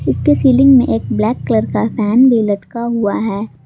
इसके सीलिंग में एक ब्लैक कलर का फैन भी लटका हुआ है।